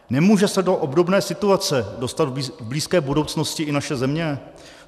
Nemůže se do obdobné situace dostat v blízké budoucnosti i naše země?